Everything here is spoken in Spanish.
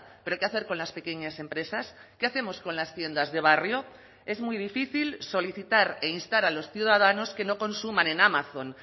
pero qué hacer con las pequeñas empresas qué hacemos con las tiendas de barrio es muy difícil solicitar e instar a los ciudadanos que no consuman en amazon